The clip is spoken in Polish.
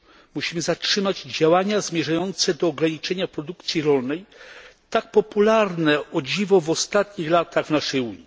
Musimy zatrzymać działania zmierzające do ograniczania produkcji rolnej, tak popularne o dziwo w ostatnich latach w naszej Unii.